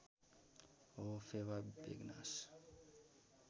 हो फेवा बेगनास